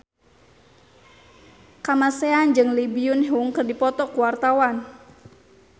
Kamasean jeung Lee Byung Hun keur dipoto ku wartawan